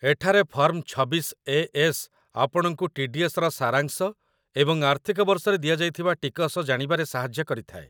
ଏଠାରେ ଫର୍ମ ୨୬ଏ.ଏସ୍‌. ଆପଣଙ୍କୁ ଟି.ଡି.ଏସ୍‌.ର ସାରାଂଶ ଏବଂ ଆର୍ଥିକ ବର୍ଷରେ ଦିଆଯାଇଥିବା ଟିକସ ଜାଣିବାରେ ସାହାଯ୍ୟ କରିଥାଏ |